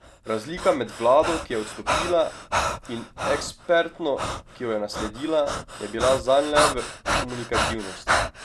Razlika med vlado, ki je odstopila, in ekspertno, ki jo je nasledila, je bila zanj le v komunikativnosti.